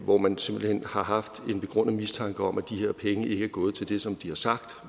hvor man simpelt hen har haft en begrundet mistanke om at de her penge ikke er gået til det som har sagt